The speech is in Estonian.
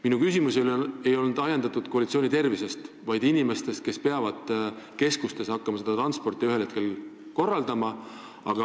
Minu küsimus ei olnud ajendatud murest koalitsiooni tervise pärast, vaid nende inimeste pärast, kes peavad ühel hetkel hakkama keskustes seda transporti korraldama.